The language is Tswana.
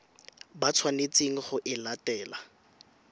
ba tshwanetseng go e latela